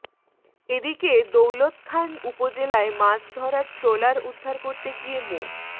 এদিকে দৌলতখান উপজেলায় মাছ ধরার ট্রলার উদ্ধার করতে গিয়ে মো